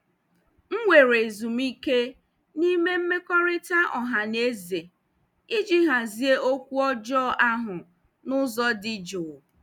M were ezumike n'ime mmekọrịta ọha na eze iji hazie okwu ọjọọ ahụ n'ụzọ dị jụụ.